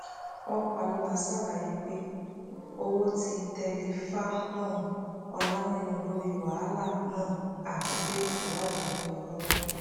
ọpàlọla ṣàlàyé pé owó ti tẹ ọláǹíràn lórí wàhálà náà àti pé ìwádìí ń lọ lọwọ